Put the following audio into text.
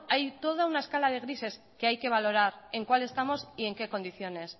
hay toda una escala de grises que hay que valorar en cuál estamos y en qué condiciones